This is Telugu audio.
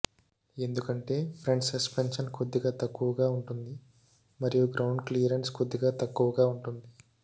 ఎందుకంటే ఫ్రంట్ సస్పెన్షన్ కొద్దిగా తక్కువగా ఉంటుంది మరియు గ్రౌండ్ క్లియరెన్స్ కూడా తక్కువగా ఉంటుంది